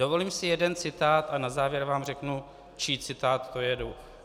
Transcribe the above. Dovolím si jeden citát a na závěr vám řeknu, čí citát to je.